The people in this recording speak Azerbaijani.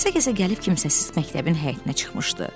Gəzə-gəzə gəlib kimsəsiz məktəbin həyətinə çıxmışdı.